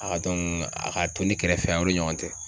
A ka dɔnku a ka to ne kɛrɛfɛ yan o de ɲɔgɔn tɛ